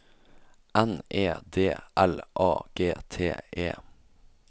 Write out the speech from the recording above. N E D L A G T E